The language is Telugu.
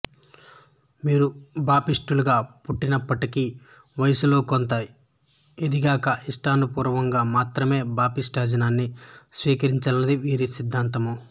వీరు బాప్టిస్టులుగా పుట్టినప్పటికి వయస్సులో కొంత ఎదిగాక ఇష్ట పూర్వకంగా మాత్రమే బాప్టిస్టిజాన్ని స్వీకరించాలనేది వీరి సిద్ధాంతము